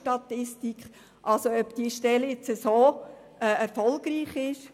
Es ist daher fraglich, ob diese Stelle so erfolgreich ist.